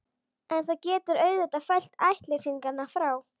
En það getur auðvitað fælt ættleysingjana frá.